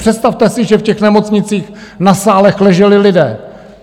Představte si, že v těch nemocnicích na sálech leželi lidé.